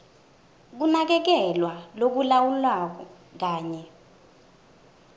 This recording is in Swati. kunakekelwa lokulawulwako kanye